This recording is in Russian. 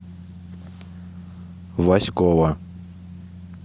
васькова